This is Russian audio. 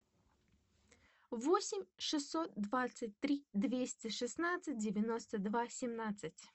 восемь шестьсот двадцать три двести шестнадцать девяносто два семнадцать